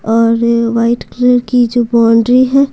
और white colour की जो बाउंड्री है।